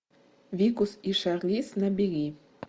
викус и шарлиз набери